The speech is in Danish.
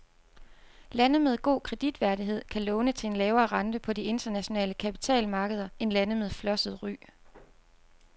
Lande med god kreditværdighed kan låne til en lavere rente på de internationale kapitalmarkeder end lande med flosset ry.